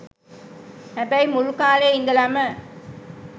හැබැයි මුල් කා‍ලේ ඉඳලම